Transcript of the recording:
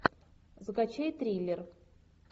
закачай триллер